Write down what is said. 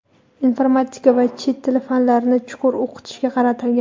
informatika va chet tili fanlarini chuqur o‘qitishga qaratilgan.